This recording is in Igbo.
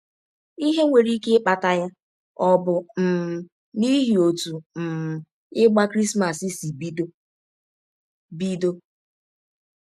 Ihe nwere ike ịkpata ya ọ̀ bụ um n’ihi ọtụ um ịgba Krismas sị bidọ? bidọ?